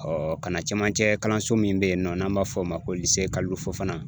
kana camancɛ kalanso min be yen nɔ n'an b'a f'o ma ko Kalilu Fofana